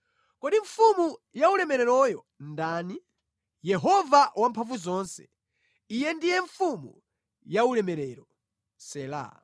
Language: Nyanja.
Kodi Mfumu yaulemereroyo ndani? Yehova Wamphamvuzonse, Iye ndiye Mfumu yaulemerero. Sela